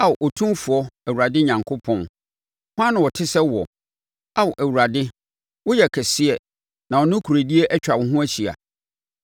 Ao Otumfoɔ Awurade Onyankopɔn, hwan na ɔte sɛ woɔ? Ao Awurade woyɛ kɛseɛ na wo nokorɛdie atwa wo ho ahyia.